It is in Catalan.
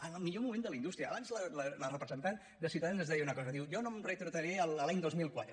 en el millor moment de la indústria abans la representant de ciutadans ens deia una cosa diu jo no em retrotrauré a l’any dos mil quatre